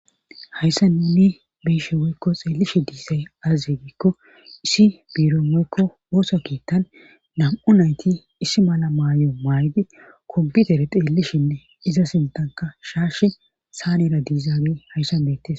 hayssan nuni be7ishe woykko xeellishe diizay aaze giikko issi biiron woykko ooso keettan nam7u nayti issi mala maayo maaydi koputere xeellishinne iza sintanka shaash saanera diizagee hayssan beettis